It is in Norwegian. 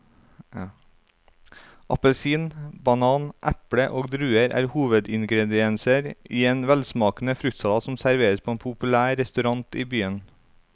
Appelsin, banan, eple og druer er hovedingredienser i en velsmakende fruktsalat som serveres på en populær restaurant i byen.